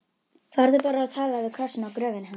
Farðu bara og talaðu við krossinn á gröfinni hans.